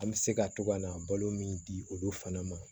An bɛ se ka to ka na balo min di olu fana ma